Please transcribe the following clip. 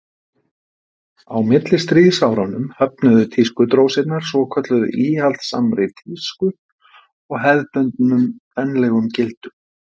á millistríðsárunum höfnuðu tískudrósirnar svokölluðu íhaldssamri tísku og hefðbundnum kvenlegum gildum